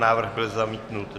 Návrh byl zamítnut.